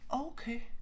Okay